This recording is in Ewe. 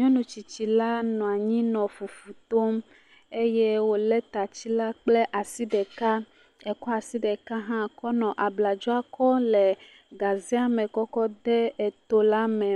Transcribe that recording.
Nyɔnu tsitsila nɔ anyi le fufu tom eye wòlé tatsila kple asi ɖeka. Ekɔ asi ɖeka hã kɔ le abladzo kɔm le gazea me kɔkɔ de etola me.